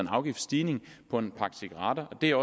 afgiftsstigning på en pakke cigaretter der